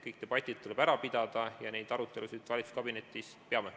Kõik need debatid tuleb ära pidada ja neid arutelusid me valitsuskabinetis peame.